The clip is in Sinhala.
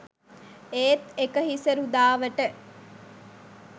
ඒත් එක හිසරුදාවට